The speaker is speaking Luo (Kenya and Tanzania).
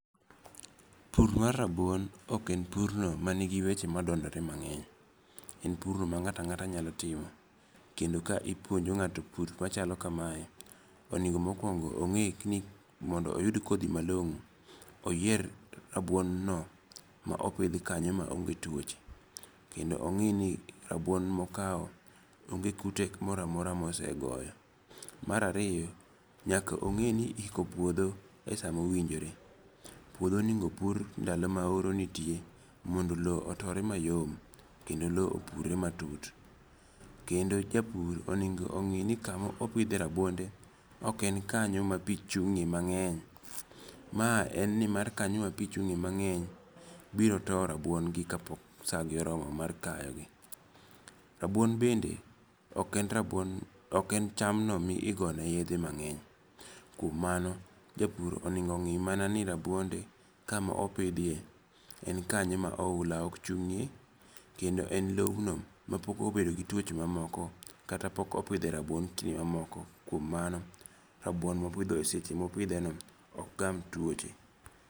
Pur mar rabuon ok en pur no man gi weche madondore mang'eny. En pur no ma ng'ata ngata nyalo timo. Kendo ka ipuonjo ng'ato pur machalo kamae onengo mokuongo ong'e ni mondo oyud kodhi malong'o oyier rabuon no ma opidh kanyo ma onge tuoche' Kendo ong'i ni rabuon mokawo onge kute moro amora mosegoyo. Mar ariyo nyaka ong'e ni iko puodho e sa mowinjore. Puodho onego pur ndalo ma oro nitie mondo lo otore mayom kendo lo opur re matut. Kendo japur owinjo ong'i ni kamopidhe rabuonde ok en kanyo ma pi chung'e mang'eny. Ma en ni mar kanyo ma pi chung'e mang'eny biro towo rabuon gi ka pok sa gi oromo mar kayo gi. Rabuon bende ok en cham no migone ne yedhe mang'eny. Kuom mano, japur oneng' ng'i mana ni rabuonde kamopidhie en kanyo ma oula ok chung'e kendo en lowno mapok obede gi tuoche mamoko kata ma pok opidhe rabuon kinde mamoko. Kuon mano rabuon mopidho seche mopidhe no ok gam tuoche.